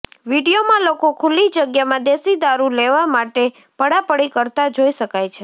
વીડિયોમાં લોકો ખુલ્લી જગ્યામાં દેશી દારૂ લેવા માટે પડાપડી કરતાં જોઈ શકાય છે